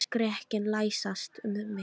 Ég fann skrekkinn læsast um mig.